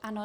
Ano.